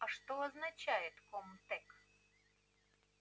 а что означает ком-тек